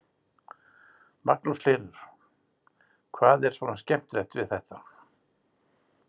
Magnús Hlynur: Hvað er svona skemmtilegt við þetta?